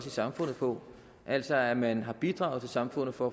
i samfundet på altså at man har bidraget til samfundet for